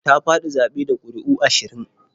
Ta faɗi zaɓe da ƙuri'u ashirin.